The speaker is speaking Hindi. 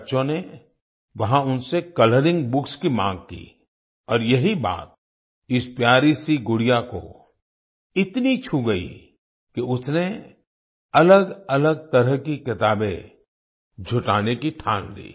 बच्चों ने वहाँ उनसे कलरिंग बुक्स की माँग की और यही बात इस प्यारीसी गुड़िया को इतनी छू गई कि उसने अलगअलग तरह की किताबें जुटाने की ठान ली